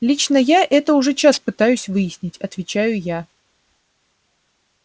лично я это уже час пытаюсь выяснить отвечаю я